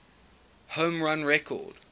home run record